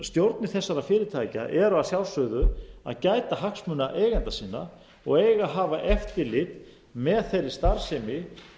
stjórnir þessara fyrirtækja eru að sjálfsögðu að gæta hagsmuna eigenda sinna og eiga að hafa eftirlit með þeirri starfsemi